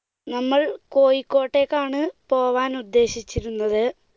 നമ്മൾ കോയിക്കോട്ടേക്കാണ് പോകാൻ ഉദ്ദേശിച്ചിരുന്നത്.